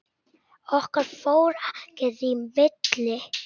Okkar fór ekkert í milli.